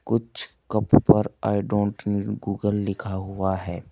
कुछ कपो पर आई डोंट नीड गूगल लिखा हुआ है।